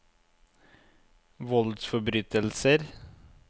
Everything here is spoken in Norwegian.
voldsforbrytelser